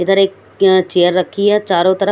इधर एक चेयर रखी है चारो तरफ--